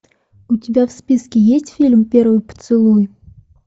у тебя в списке есть фильм первый поцелуй